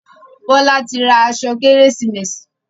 Bola tí ra aṣọ Kérésìmesì.